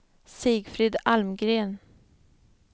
Sigfrid Almgren